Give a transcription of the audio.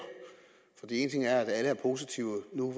for en ting er at alle er positive nu